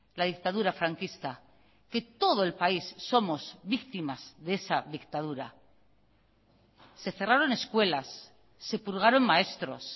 la dictadura franquista que todo el país somos víctimas de esa dictadura se cerraron escuelas se purgaron maestros